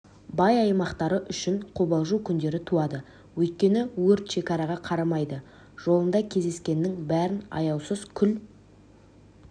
бай аймақтары үшін қобалжу күндері туады өйткені өрт шекараға қарамайды жолында кездескеннің бәрін аяусыз күл